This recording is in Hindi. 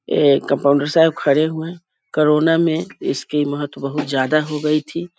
ये कम्पाउंडर साहब खड़े हुए हैं कोरोना में इसकी महत्व बहुत ज्यादा हो गई थी।